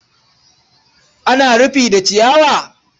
Ana rufi da ciyawa?